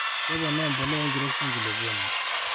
keponaa empulea enkiroshi enkulukuoni